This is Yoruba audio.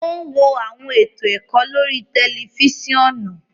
O n wo awọn eto ẹkọ lórí tẹlifisiọnu